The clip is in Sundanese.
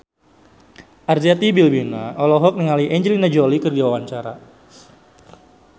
Arzetti Bilbina olohok ningali Angelina Jolie keur diwawancara